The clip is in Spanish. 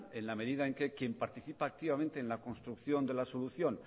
en la medida en que quien participa activamente en la construcción de la solución